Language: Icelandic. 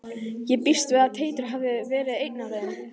Ég býst við að Teitur hafi verið einn af þeim.